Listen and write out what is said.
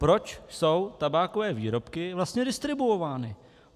Proč jsou tabákové výrobky vlastně distribuovány?